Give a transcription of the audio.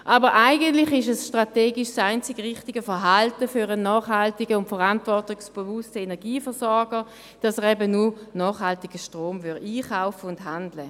Aber eigentlich ist es strategisch das einzig richtige Verhalten für einen nachhaltigen und verantwortungsbewussten Energieversorger, dass er eben nur nachhaltigen Strom einkauft und handelt.